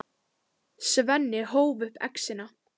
Svenni hóf upp exina.